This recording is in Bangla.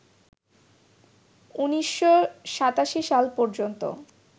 ১৯৮৭ সাল পর্যন্ত